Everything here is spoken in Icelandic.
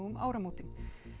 um áramótin